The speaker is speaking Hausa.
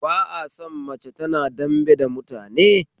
Ba a son mace tana dambe da mutane